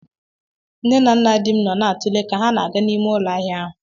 Nne na nna dim nọ na-atụle ka ha na-aga n'ime ụlọ ahịa ahụ